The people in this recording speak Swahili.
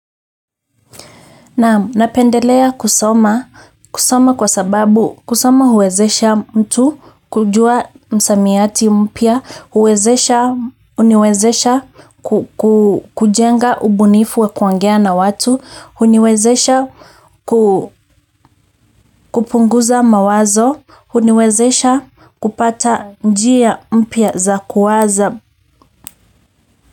Naam, napendelea kusoma kwa sababu kusoma huwezesha mtu kujua msamiati mpya, kuwezesha huniwezesha kujenga ubunifu wa kuongea na watu, huniwezesha kupunguza mawazo, huniwezesha kupata njia mpya za kuwaza.